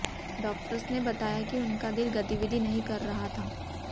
doctors ने बताया कि उनका दिल गतिविधि नहीं कर रहा था